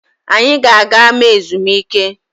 Anyị ga-aga ama ezumike